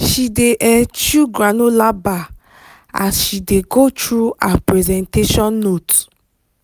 she dey um chew granola bar as she dey go through her presentation note.